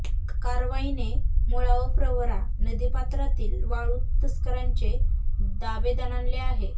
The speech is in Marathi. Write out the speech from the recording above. कारवाईने मुळा व प्रवरा नदीपात्रातील वाळु तस्करांचे धाबे दणाणले आहे